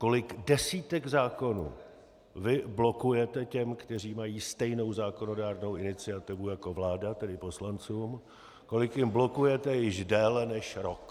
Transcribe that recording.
Kolik desítek zákonů vy blokujete těm, kteří mají stejnou zákonodárnou iniciativu jako vláda, tedy poslancům, kolik jich blokujete již déle než rok?